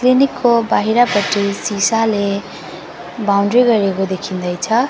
Clinic को बाहिरपटि सिसाले बाउन्ड्री गरेको देखिँदैछ।